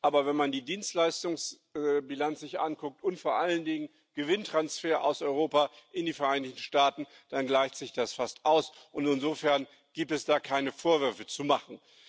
Aber wenn man sich die Dienstleistungsbilanz anguckt und vor allen Dingen die Gewinntransfers aus Europa in die Vereinigten Staaten, dann gleicht sich das fast aus, und insofern gibt es da keine Vorwürfe zu machen.